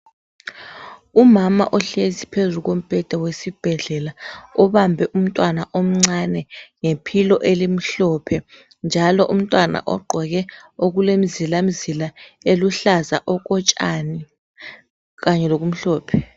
Umama ohlezi phezu kombheda wesibhedlela obambe umntwana omncane ngephilo elimhlophe. Njalo umntwana ogqoke okulemizilamzila eluhlaza okotshani kanye lokumhlophe .